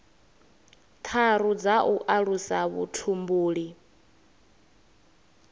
tharu dza u alusa vhutumbuli